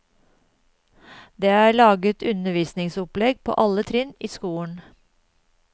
Det er laget undervisningsopplegg på alle trinn i skolen.